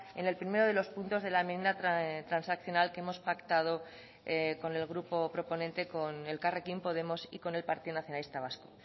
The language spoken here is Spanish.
en el primero de los puntos de la enmienda transaccional que hemos pactado con el grupo proponente con elkarrekin podemos y con el partido nacionalista vasco